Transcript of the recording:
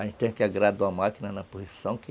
A gente tem que agradar a máquina na posição que